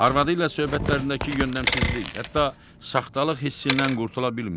Arvadı ilə söhbətlərindəki yöndəmsizlik, hətta saxtalıq hissindən qurtula bilmirdi.